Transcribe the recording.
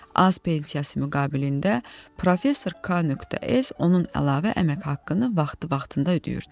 Az pensiyası müqabilində professor K.S. onun əlavə əmək haqqını vaxtı-vaxtında ödəyirdi.